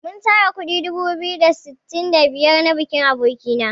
Mun tara kuɗi dubu biyu da sittin da biyar na bikin aboki na.